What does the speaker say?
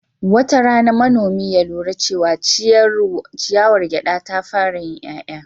Wata rana, manomi ya lura cewa ciyawar gyada ta fara yin 'ya'ya.